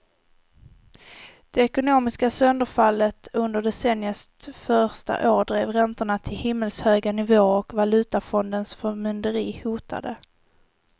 Det ekonomiska sönderfallet under decenniets första år drev räntorna till himmelshöga nivåer och valutafondens förmynderi hotade.